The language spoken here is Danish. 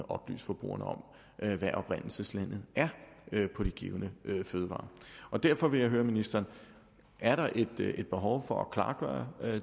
oplyse forbrugerne om hvad oprindelseslandet er på de givne fødevarer derfor vil jeg høre ministeren er der et behov for at klargøre